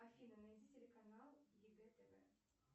афина найди телеканал егэ тв